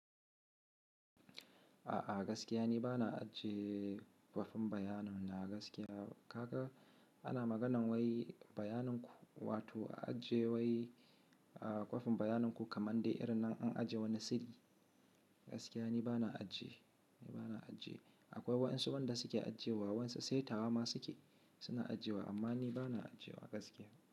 A'a gaskiya ni bana ajiye kwafin bayanan na gaskiya. Kaga ana maganar wai bayanin ku wato a ajiye wai kwafin bayanin ku kamar dai irin na an ajiye wani sirri. Gaskiya ni bana ajiye, bana ajiye. Akwai waan su wanda suke ajiye wa waan su sai tawa ma suke suna ajiye wa amma ni bana ajiye wa gaskiya.